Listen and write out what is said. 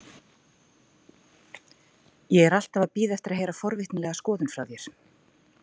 Ég er alltaf að bíða eftir að heyra forvitnilega skoðun frá þér.